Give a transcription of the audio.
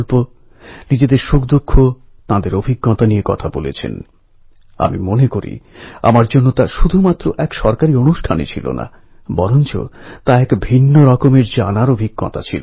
ইংরেজরা লোকমান্য তিলককে এতটাই ভয় পেত যে কুড়ি বছরের মধ্যে তিনতিনবার তাঁর বিরুদ্ধে রাজদ্রোহের অভিযোগ এনেছিল